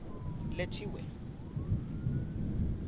lethiwe